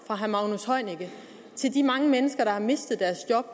fra herre magnus heunicke til de mange mennesker der har mistet deres job